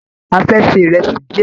A fẹ́ ṣe ìrẹsì díẹ̀.